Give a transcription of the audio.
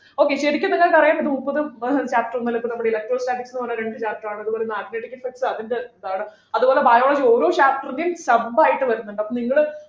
okay ശരിക്കും ഇപ്പൊ ഞങ്ങക്ക് അറിയാം മുപ്പത് ഏർ chapters ഇണ്ടല്ലോ ഇപ്പൊ നമ്മുടെ കയ്യില് electro statics ന്നു പറഞ്ഞ രണ്ടു chapter ആണുള്ളത് അത്പോലെ magnetic effects അതിൻ്റെ ഇതാണ് അതുപോലെ biology ഓരോ chapter ന്റെയും sub ആയിട്ട് വരുന്നുണ്ട് അപ്പൊ നിങ്ങള്